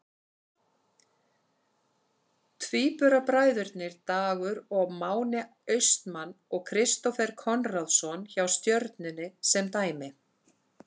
Tvíburabræðurnir Dagur og Máni Austmann og Kristófer Konráðsson hjá Stjörnunni sem dæmi.